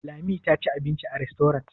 Lami ta ci abinci a rastorant?